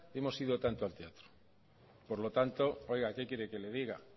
hemos ido tanto al teatro por lo tanto oiga qué quiere que le diga